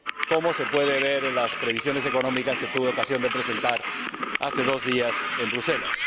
como se puede ver en las previsiones económicas que tuve ocasión de presentar, hace dos días, en Bruselas.